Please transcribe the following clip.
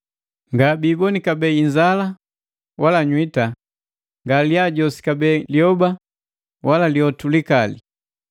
Ngabiiboni kabee inzala wala nywiita, nga lyajosi kabee lyoba wala lyotu likali,